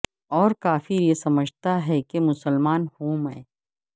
اور کافر یہ سمجھتا ہے کہ مسلمان ہوں میں